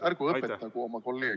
Ärgu õpetagu oma kolleege.